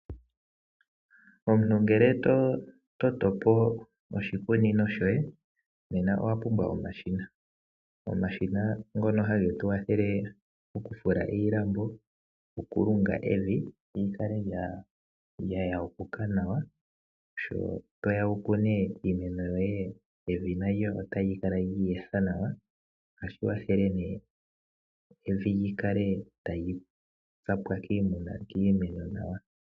Omuntu ngele to toto po oshikunino shoye, owa pumbwa omashina. Omashina ngono hage tu kwathele oku fula iilambo, oku lunga evi li kale lya yapuka nawa, sho toya wu kune iimeno yoye evi nalyo tali kala lyi etha nawa. Ohashi kwathele ne evi lyi kale tali tsamwa kiimeno nawa.